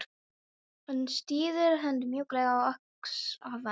Hún styður hönd mjúklega á öxl afans.